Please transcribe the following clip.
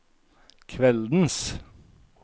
kveldens